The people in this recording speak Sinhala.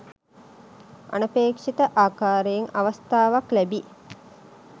අනපේක්ෂිත ආකාරයෙන් අවස්ථාවක් ලැබී